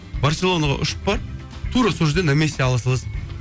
барселонаға ұшып бар тура сол жерде на месте ала саласың